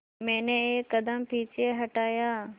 मैंने एक कदम पीछे हटाया